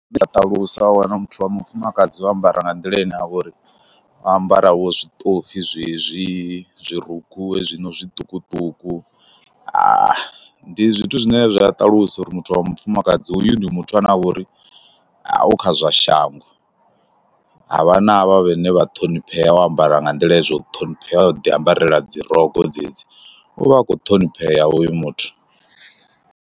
Zwine zwa ṱalusa wa wana muthu wa mufumakadzi wo ambara nga nḓila ine a uri o ambara vho zwiṱofi zwezwi. zwirukhu hezwino zwiṱukuṱuku. Ndi zwithu zwine zwa ṱalusa uri muthu wa mufumakadzi hoyu ndi muthu ane a vha uri u kha zwa shango, ha vha na havha vhane vha ṱhoniphea wo ambara nga nḓila zwo ṱhoniphea, o ḓiambarela dzi rogo dzedzi, u vha akho ṱhoniphea hoyu muthu.